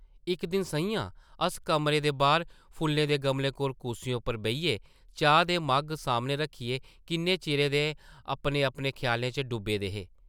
इक दिन सʼञां अस कमरें दे बाह्र फुल्लें दे गमलें कोल कुर्सियें उप्पर बेहियै चाह् दे मग्घ सामनै रक्खियै किन्ने चिरै दे अपने-अपने ख्यालें च डुब्बे दे हे ।